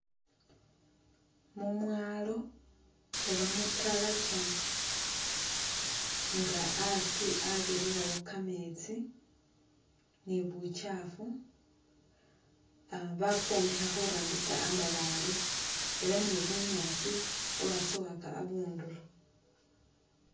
Mumwalo oba mutalakya nga asi abirirawo kametsi ni bukyafu, bakwombekha khurambisa amabale ela ni bunyaasi bwatsowaka abunduro.